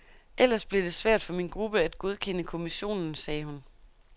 Ellers bliver det svært for min gruppe at godkende kommissionen, sagde hun.